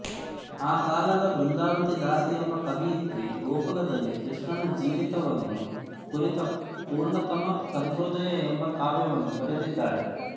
ಆ ಕಾಲದ ಬೃಂದಾವತಿದಾಸಿ ಎಂಬ ಕವಿಯಿತ್ರಿ ಗೋಕುಲದಲ್ಲಿ ಕೃಷ್ಣನ ಜೀವಿತವನ್ನು ಕುರಿತ ಪುರ್ಣತಮ ಚಂದ್ರೋದಯ ಎಂಬ ಕಾವ್ಯವನ್ನು ಬರೆದಿದ್ದಾಳೆ